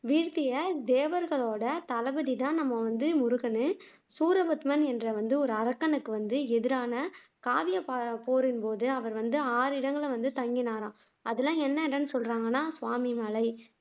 வீழ்த்திய தேவர்களோட தளபதிதான் நம்ம வந்து முருகன் சூரபத்மன் என்ற வந்து ஒரு அரக்கனை கொன்று எதிரான காவிய போரின்போது அவர் வந்து ஆறு இடங்களில் தங்கினாராம் அதுஎல்லாம் என்ன இடம்னு சொல்றாங்கன்னா சுவாமி மலை